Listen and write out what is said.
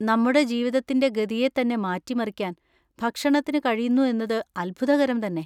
നമ്മുടെ ജീവിതത്തിൻ്റെ ഗതിയെ തന്നെ മാറ്റിമറിക്കാൻ ഭക്ഷണത്തിന് കഴിയുന്നു എന്നത് അത്ഭുതകരം തന്നെ.